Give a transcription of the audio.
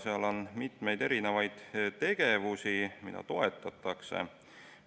Seal on mitmeid tegevusi, mida toetatakse.